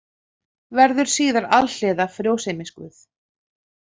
Verður síðar alhliða frjósemisguð.